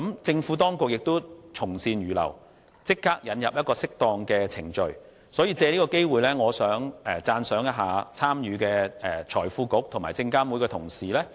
政府當局從善如流，立即引入適當的程序，所以，我想藉此機會讚賞參與修訂條文的財經事務及庫務局和證監會的同事。